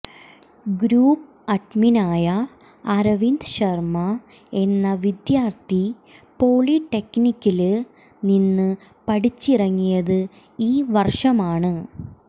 group അഡ്മിനായ അരവിന്ദ് ശര്മ്മ എന്ന വിദ്യാര്ത്ഥി പോളിടെക്നിക്കില് നിന്ന് പഠിച്ചിറങ്ങിയത് ഈ വര്ഷമാണ്